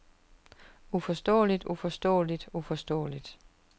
uforståeligt uforståeligt uforståeligt